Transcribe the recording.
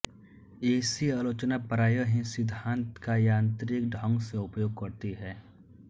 ऐसी आलोचना प्राय ही सिद्धान्त का यांत्रिक ढंग से उपयोग करती है